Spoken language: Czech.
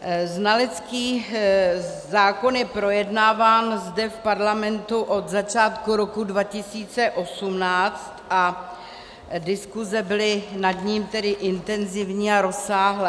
Znalecký zákon je projednáván zde v Parlamentu od začátku roku 2018 a diskuze byly nad ním tedy intenzivní a rozsáhlé.